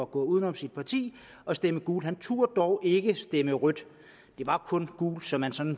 gå uden om sit parti og stemme gult han turde dog ikke stemme rødt det var kun gult så man sådan